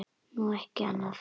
Nú, ekki annað.